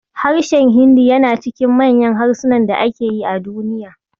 Harshen Hindu yana cikin manyan harsunan da ake yi a Duniya.